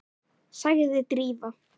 sagði Drífa.